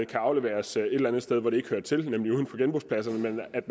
kan afleveres et eller andet sted hvor det ikke hører til nemlig uden for genbrugspladserne men at